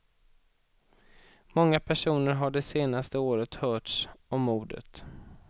Många personer har det senaste året hörts om mordet.